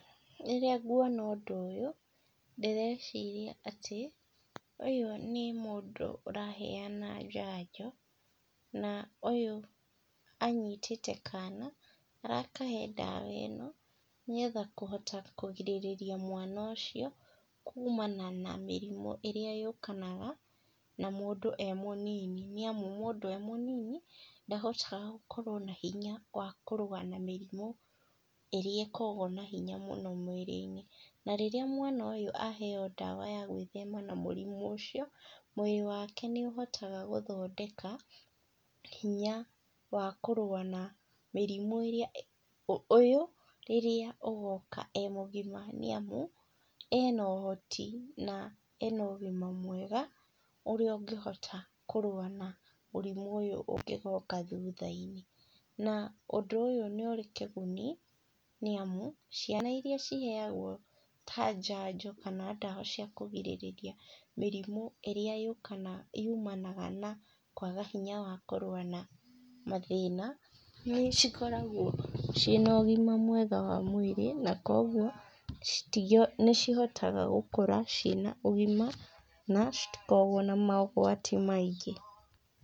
Rĩrĩa nguona ũndũ ũyũ, ndĩreciria atĩ, ũyũ nĩ mũndũ ũraheana njanjo na ũyũ anyitĩte kana arakahe ndawa ĩno, nĩgetha kũhota kũgĩrĩria mwana ũcio, kumana na mĩrimũ ĩrĩa yũkanaga na mũndũ e mũnini. Nĩ amu mũndũ e mũnini, ndahotaga gũkorwo na hinya wa kũrũa na mĩrimũ ĩrĩa ĩkoragwo na hinya mũno mwĩrĩ-inĩ. Na rĩrĩa mwana ũyũ aheo ndawa ya gwĩthema na mũrimũ ũcio, mwĩrĩ wake nĩ ũhotaga gũthondeka hinya wa kũrũa na mĩrimũ ĩrĩa, ũyũ rĩrĩa ũgoka e mũgima, nĩ amu ena ũhoti na ena ũgima mwega ũrĩa ũngĩhota kũrũa na mũrimũ ũyũ ũngĩgoka thutha-inĩ. Na ũndũ ũyũ nĩ ũrĩ kĩguni nĩ amu, ciana iria ciheagwo ta njanjo kana ndawa cia kũrigĩrĩria mĩrimũ ĩrĩa yũkanaga, yumanaga na kwaga hinya wa kũrua na mathĩna, nĩ cikoragwo ciĩna ũgima mwega wa mwĩrĩ na kogũo, nĩ cihotaga gũkũra ciĩna ũgima na citikoragwo na mogwati maingĩ.